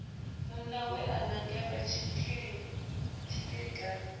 munna we a nangelwa tshilikadzi